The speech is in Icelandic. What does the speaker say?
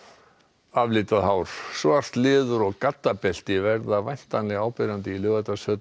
hár svart leður og verða væntanlega áberandi í Laugardalshöll í kvöld þegar enski